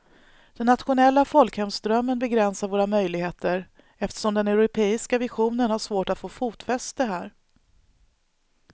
Den nationella folkhemsdrömmen begränsar våra möjligheter eftersom den europeiska visionen har svårt att få fotfäste här.